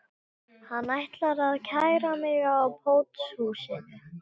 Hann ætlar að kæra mig á pósthúsinu